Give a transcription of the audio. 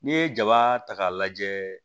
N'i ye jaba ta k'a lajɛ